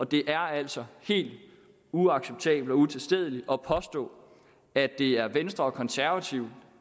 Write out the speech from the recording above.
det er altså helt uacceptabelt og utilstedeligt at påstå at det er venstre og konservative